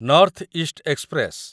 north East express